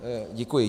Děkuji.